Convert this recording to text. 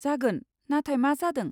जागोन, नाथाय मा जादों?